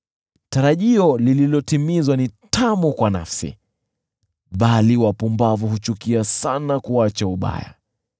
Tarajio lililotimizwa ni tamu kwa nafsi, bali wapumbavu huchukia sana kuacha ubaya.